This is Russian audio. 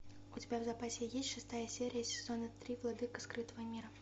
у тебя в запасе есть шестая серия сезона три владыка скрытого мира